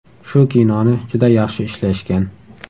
Shu kinoni juda yaxshi ishlashgan.